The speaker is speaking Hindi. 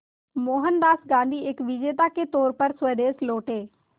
मोहनदास गांधी एक विजेता के तौर पर स्वदेश लौटे